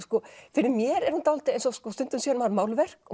fyrir mér er hún dálítið eins og stundum sér maður málverk og